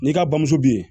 N'i ka bamuso bɛ yen